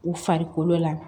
U farikolo la